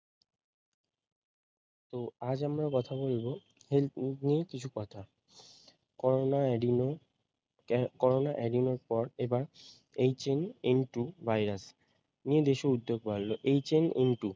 তো আজ আমরা কথা বলবো নিয়ে কিছু কথা করোনা আহ করোনা এর পর এবার HNN -two ভাইরাস নিয়ে দেশে উদ্যোগ বাড়ল HNN -two